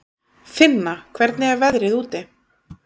Finna, hvernig er veðrið úti?